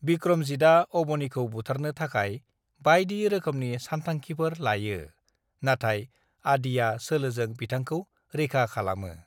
"बिक्रमजितआ अबनिखौ बुथारनो थाखाय बायदि रोखोमनि सानथांखिफोर लायो, नाथाय आदिआ सोलोजों बिथांखौ रैखा खालामो।"